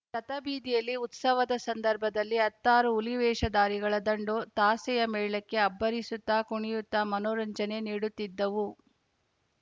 ರಥಬೀದಿಯಲ್ಲಿ ಉತ್ಸವದ ಸಂದರ್ಭದಲ್ಲಿ ಹತ್ತಾರು ಹುಲಿವೇಷಧಾರಿಗಳ ದಂಡು ತಾಸೆಯ ಮೇಳಕ್ಕೆ ಅಬ್ಬರಿಸುತ್ತಾ ಕುಣಿಯುತ್ತಾ ಮನೋರಂಜನೆ ನೀಡುತ್ತಿದ್ದವು